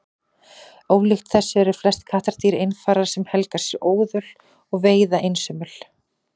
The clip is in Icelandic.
Ólíkt þessu eru flest kattardýr einfarar sem helga sér óðöl og veiða einsömul.